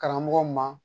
Karamɔgɔw ma